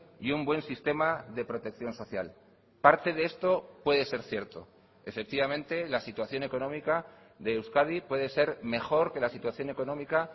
y un buen sistema de protección social parte de esto puede ser cierto efectivamente la situación económica de euskadi puede ser mejor que la situación económica